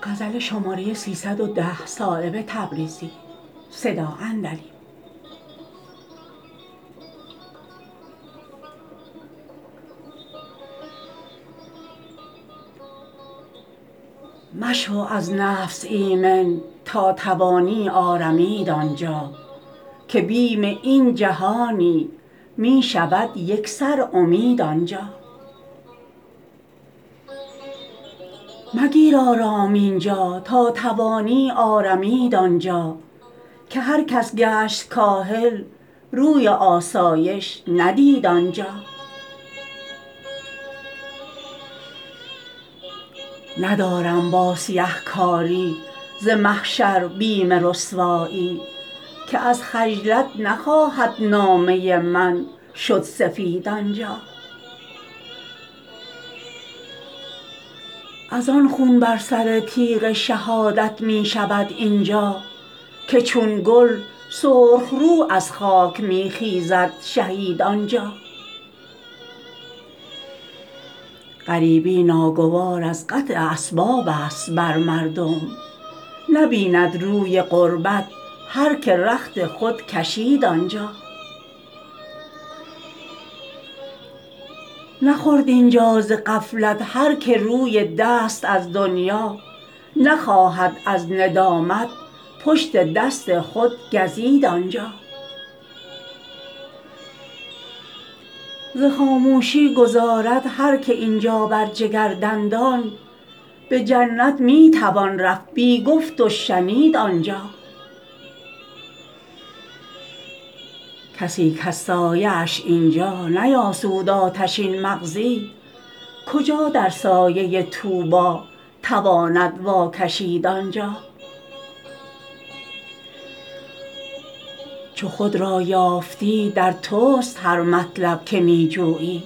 مشو از نفس ایمن تا توانی آرمید آنجا که بیم این جهانی می شود یکسر امید آنجا مگیر آرام اینجا تا توانی آرمید آنجا که هر کس گشت کاهل روی آسایش ندید آنجا ندارم با سیه کاری ز محشر بیم رسوایی که از خجلت نخواهد نامه من شد سفید آنجا ازان خون بر سر تیغ شهادت می شود اینجا که چون گل سرخ رو از خاک می خیزد شهید آنجا غریبی ناگوار از قطع اسباب است بر مردم نبیند روی غربت هر که رخت خود کشید آنجا نخورد اینجا ز غفلت هر که روی دست از دنیا نخواهد از ندامت پشت دست خود گزید آنجا ز خاموشی گذارد هر که اینجا بر جگر دندان به جنت می تواند رفت بی گفت و شنید آنجا کسی کز سایه اش اینجا نیاسود آتشین مغزی کجا در سایه طوبی تواند واکشید آنجا چو خود را یافتی در توست هر مطلب که می جویی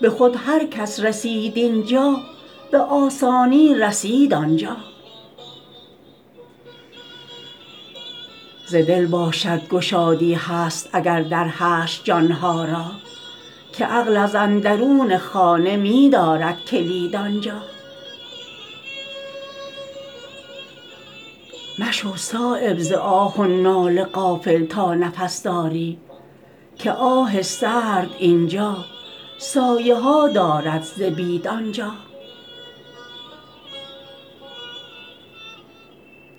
به خود هر کس رسید اینجا به آسانی رسید آنجا ز دل باشد گشادی هست اگر در حشر جانها را که عقل از اندرون خانه می دارد کلید آنجا مشو صایب ز آه و ناله غافل تا نفس داری که آه سرد اینجا سایه ها دارد ز بید آنجا